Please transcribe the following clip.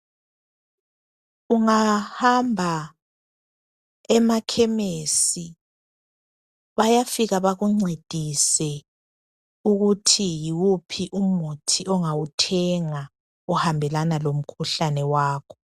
Ungahamba emakhemesi bayafika bakuncedise ukuthi yiwuphi umuthi ongawithenga ohambelana lomkhuhlane wakho.